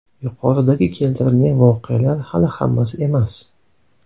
Yuqoridagi keltirilgan voqealar hali hammasi emas.